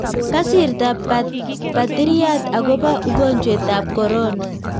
Kasirta patiriat akopa ugonjwet AP korona.